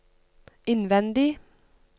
innvendig